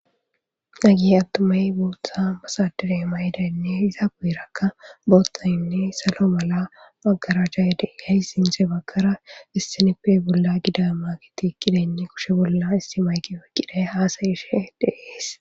Nagihe attumay buutha basadire mayidayinne iza buyirakka boottayinne salo mala maggara jayde gay sinse baggara issinippe bolla gida ma giti qidenne kushe bolla istimaygi wekqiday haasayishe deees.